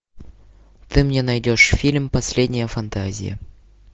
ты мне найдешь фильм последняя фантазия